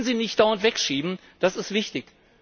Wir können sie nicht dauernd wegschieben, das ist wichtig.